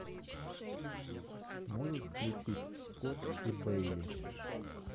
можешь включить скотт и бейли